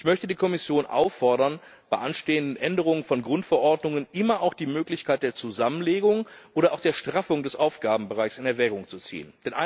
Und ich möchte die Kommission auffordern, bei anstehenden Änderungen von Grundverordnungen immer auch die Möglichkeit der Zusammenlegung oder auch der Straffung des Aufgabenbereichs in Erwägung zu ziehen.